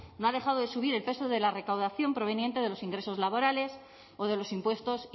no ha dejado de subir el peso de la recaudación proveniente de los ingresos laborales o de los impuestos